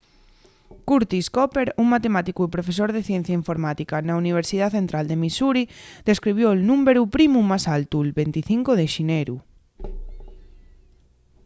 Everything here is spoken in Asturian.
curtis cooper un matemáticu y profesor de ciencia informática na universidá central de missouri descubrió’l númberu primu más altu'l 25 de xineru